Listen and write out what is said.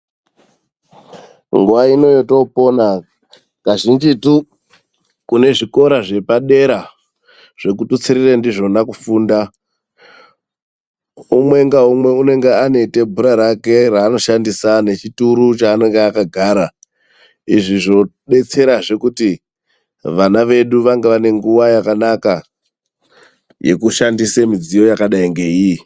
Nguwa ino yetoopona, kazhinjitu kune zvikora zvepadera zvekututsirire ndizvona kufunda, umwe ngaumwe unenge ane tebhura rake raanoshandisa nechituru chaanenge akagara. Izvi zvodetserazve kuti vana vedu vange vane nguwa yakanaka, yekushandise mudziyo yakadai ngeiyi.